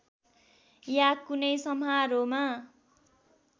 या कुनै समारोहमा